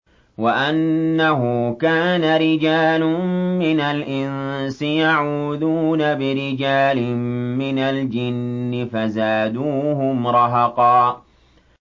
وَأَنَّهُ كَانَ رِجَالٌ مِّنَ الْإِنسِ يَعُوذُونَ بِرِجَالٍ مِّنَ الْجِنِّ فَزَادُوهُمْ رَهَقًا